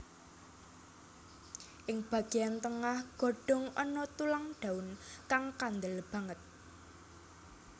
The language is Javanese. Ing bagéyan tengah godhong ana tulang daun kang kandel banget